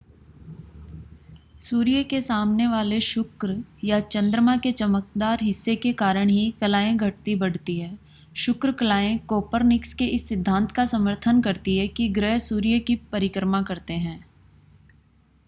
सूर्य के सामने वाले शुक्र या चंद्रमा के चमकदार हिस्से के कारण ही कलाएँ घटती-बढ़ती हैं. शुक्र कलाएँ कोपरनिकस के इस सिद्धांत का समर्थन करती हैं कि ग्रह सूर्य की परिक्रमा करते हैं